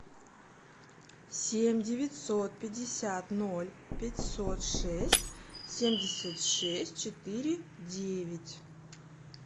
семь девятьсот пятьдесят ноль пятьсот шесть семьдесят шесть четыре девять